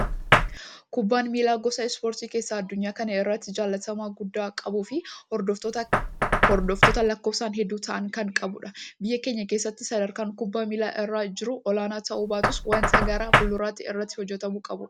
Kubbaan miilaa, gosa ispoortii keessaa addunyaa kana irratti jalatamummaa guddaa qabuu fi hordoftoota lakkoofsaan hedduu ta'an kan qabudha. Biyya keenya keessatti sadarkaan kubbaa miilaa irra jiru olaanaa ta'uu baatus waanta gara fulduraatti irratti hojjetamuu qabudha.